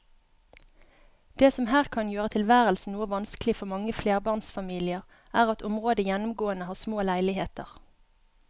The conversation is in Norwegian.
Det som her kan gjøre tilværelsen noe vanskelig for mange flerbarnsfamilier er at området gjennomgående har små leiligheter.